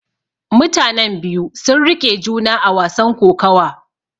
Mutanen biyu sun riƙe juna a wasan kokawa.